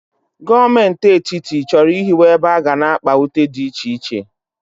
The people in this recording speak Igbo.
Gọọmenti Etiti chọrọ ịhiwe ebe aga na-akpa ute dị iche iche.